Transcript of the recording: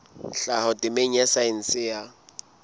tlhaho temeng ya saense ya